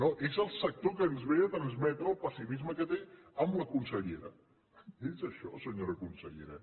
no és el sector el que ens ve a transmetre el pessimisme que té amb la consellera és això senyora consellera